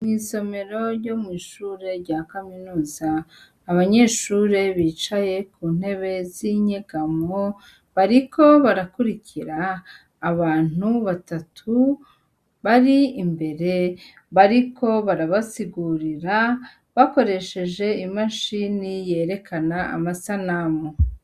Mw'isomero ryo mw'ishure rya kaminuza, abanyeshure bicaye ku ntebe z'inyegamo, bariko barakurikira abantu batatu bari imbere bariko barabasigurira bakoresheje imashini yerekana amasanamu.